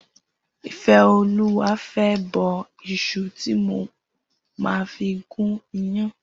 Ifeoluwa fè bọ iṣù ti mó mà fi gùn iyàn